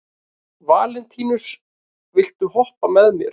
Valentínus, viltu hoppa með mér?